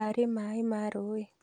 Karĩ maĩ ma rũĩ?